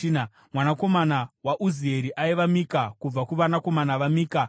Mwanakomana waUzieri aiva: Mika; kubva kuvanakomana vaMika: Shamiri.